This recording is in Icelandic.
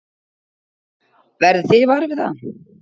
Verðið þið varir við það?